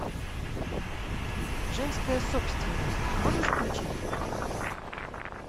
женская собственность можешь включить